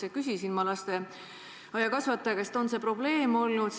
Ma küsisin lasteaiakasvataja käest, kas see on probleem olnud.